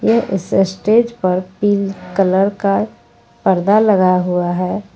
इस स्टेज पर pink colour का पर्दा लगा हुआ है।